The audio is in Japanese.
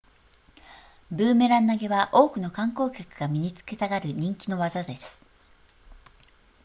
ブーメラン投げは多くの観光客が身につけたがる人気の技です